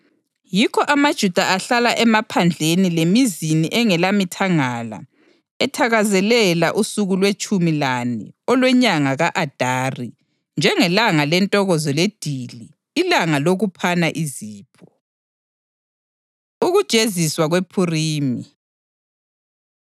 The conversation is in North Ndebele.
Yikho amaJuda ahlala emaphandleni lemizini engelamithangala ethakazelela usuku lwetshumi lane olwenyanga ka-Adari njengelanga lentokozo ledili, ilanga lokuphana izipho. Ukujeziswa KwePhurimi